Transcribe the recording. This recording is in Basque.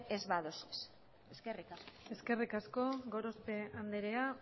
ez baduzue eskerrik asko eskerrik asko gorospe andrea